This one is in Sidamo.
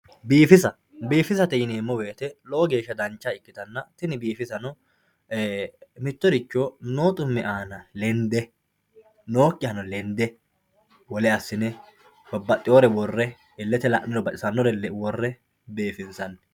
Biifisa biifisa yineemo woyite lowo geesha dancha ikitana tini biifisano mitoricho noo xumme aana lende nookihano lende wole asine babaxewore wore ilete la`nirr wore bifinsani.